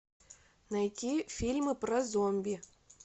найти фильмы про зомби